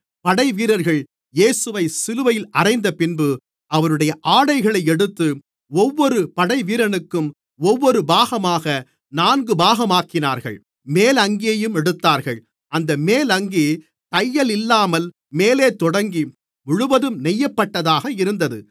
படைவீரர்கள் இயேசுவைச் சிலுவையில் அறைந்தபின்பு அவருடைய ஆடைகளை எடுத்து ஒவ்வொரு படைவீரனுக்கும் ஒவ்வொரு பாகமாக நான்கு பாகமாக்கினார்கள் மேல் அங்கியையும் எடுத்தார்கள் அந்த மேல் அங்கி தையலில்லாமல் மேலே தொடங்கி முழுவதும் நெய்யப்பட்டதாக இருந்தது